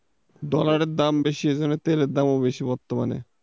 দোকানের দাম বেশি ওই করে তেলের দামও বেশি বর্তমানে।